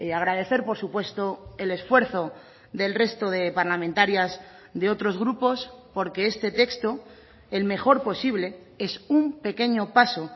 agradecer por supuesto el esfuerzo del resto de parlamentarias de otros grupos porque este texto el mejor posible es un pequeño paso